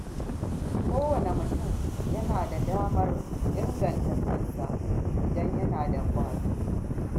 Kowane mutum yana da damar inganta kansa idan yana da ƙwazo.